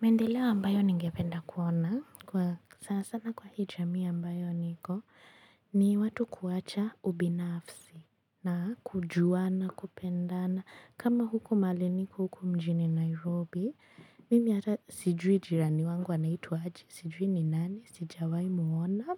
Maendeleo ambayo ningependa kuona, kwa sasa na kwa hii jamii ambayo niko, ni watu kuwacha ubinafsi na kujuana kupendana. Kama huku mahali niko huku mjini Nairobi, mimi ata sijui jirani wangu anaitwa aje, sijui ni nani, sijawahi muona.